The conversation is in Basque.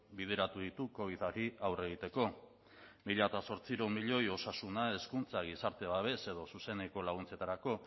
bideratu ditu covidari aurre egiteko mila zortziehun milioi osasuna hezkuntza gizarte babes edo zuzeneko laguntzetarako